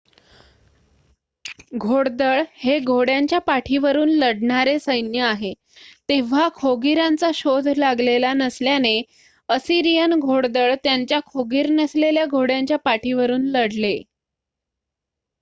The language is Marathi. घोडदळ हे घोड्यांच्या पाठीवरून लढणारे सैन्य आहे तेव्हा खोगीरांचा शोध लागलेला नसल्याने असिरियन घोडदळ त्यांच्या खोगीर नसलेल्या घोड्यांच्या पाठीवरून लढले